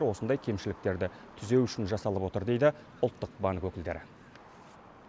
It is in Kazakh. осындай кемшіліктерді түзеу үшін жасалып отыр дейді ұлттық банк өкілдері